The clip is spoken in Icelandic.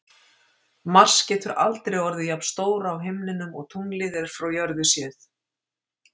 Mars getur aldrei orðið jafn stór á himninum og tunglið er frá jörðu séð.